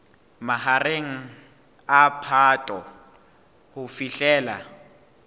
mahareng a phato ho fihlela